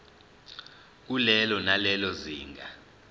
kulelo nalelo zinga